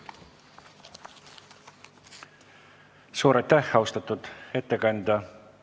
Suur aitäh, austatud ettekandja!